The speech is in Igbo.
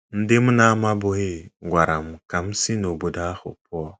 “ Ndị m na - amabughị gwara m ka m si n’obodo ahụ pụọ.